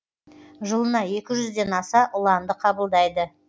жылына екі жүз ден аса ұланды қабылдайды